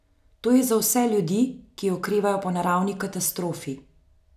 To je za vse ljudi, ki okrevajo po naravni katastrofi.